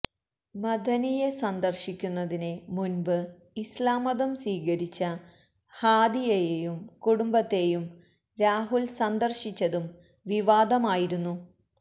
മഅദനിയെ സന്ദര്ശിക്കുന്നതിന് മുന്പ് ഇസ്ലാം മതം സ്വീകരിച്ച ഹാദിയയേയും കുടുംബത്തേയും രാഹുല് സന്ദര്ശിച്ചതും വിവാദമായിരുന്നു